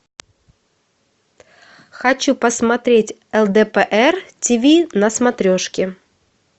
хочу посмотреть лдпр ти ви на смотрешке